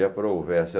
E a provérsia.